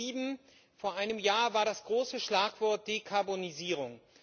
Beim G7 vor einem Jahr war das große Schlagwort die Dekarbonisierung.